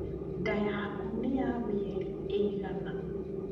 Nda yaku nĩya mĩeri ĩigana?